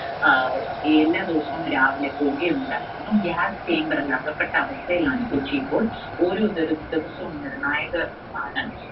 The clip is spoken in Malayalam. അഹ് എല്ലാ ദിവസവും രാവിലെ പുകയുണ്ടായിരുന്നു. gas chamber ൽ അകപ്പെട്ട അവസ്ഥയിലാണ് കൊച്ചി ഇപ്പോൾ. ഓരോ ദിർ~ദിവസവും നിർണായകമാണ്.